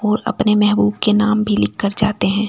और अपने महबूब के नाम भी लिख कर जाते हैं।